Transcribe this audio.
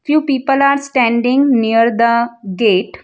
Few people are standing near the gate.